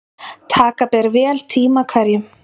Taka ber vel tíma hverjum.